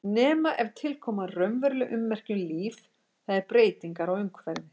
Nema ef til koma raunveruleg ummerki um líf, það er breytingar á umhverfi.